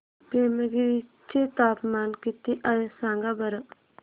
पेमगिरी चे तापमान किती आहे सांगा बरं